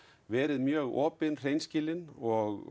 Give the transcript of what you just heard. verið mjög opin hreinskilin og